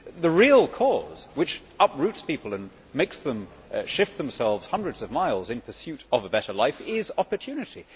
The real cause which uproots people and makes them shift themselves hundreds of miles in pursuit of a better life is opportunity.